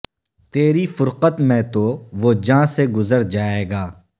تیری فرقت میں تو وہ جاں سے گزر جائے گا